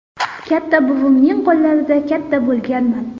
Katta buvimning qo‘llarida katta bo‘lganman.